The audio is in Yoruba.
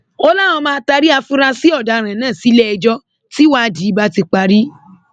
ó láwọn máa taari àfúráṣí ọdaràn náà sílẹẹjọ tíwádìí bá ti parí